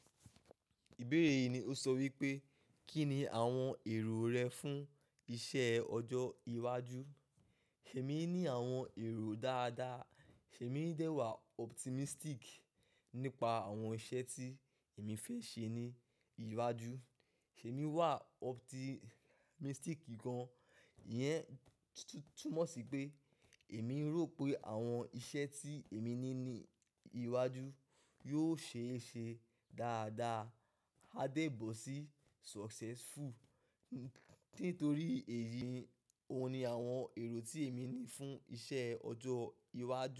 Ìbéèrè yìí ni ó sọ wípé, kí ni àwọn èrò rẹ fún iṣẹ́ ọjọ́ iwájú? Èmi ní àwọn èrò dáadáa. Èmi dẹ́ wàá optimistic nípa àwọn iṣẹ́ tí èmi fẹ́ ṣe ní iwájú. Èmi wà optimistic gan-an. Iyẹn túmọ̀ sí pé èmi rò pé àwọn iṣẹ́ tí èmi ní ní iwájú yóò ṣeé ṣe dáadáa. A dẹ́bọ̀ sí successful. Nítorí èyí, òun ni àwọn èrò tí èmi ní fún iṣẹ́ ọjọ́ iwájú.